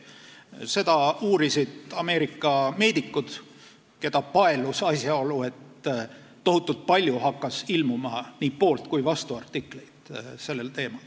Seda uurisid Ameerika meedikud, keda paelus asjaolu, et sellel teemal hakkas ilmuma tohutult palju nii poolt- kui vastuartikleid.